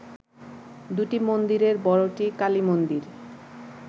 দুটি মন্দিরের বড়টি কালীমন্দির